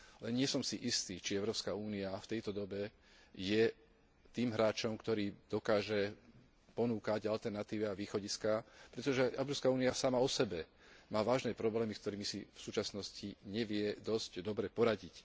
Nie som si istý, či Európska únia v tejto dobe je tým hráčom, ktorý dokáže ponúkať alternatívy a východiská, pretože Európska únia sama osebe má vážne problémy, s ktorými si v súčasnosti nevie dosť dobre poradiť.